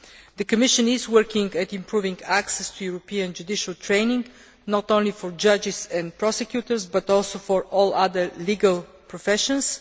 The Commission is working at improving access to European judicial training, not only for judges and prosecutors, but also for all other legal professions.